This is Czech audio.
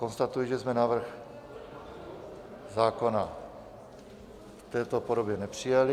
Konstatuji, že jsme návrh zákona v této podobě nepřijali.